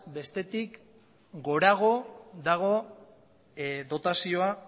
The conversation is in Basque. bestetik gorago dago dotazioa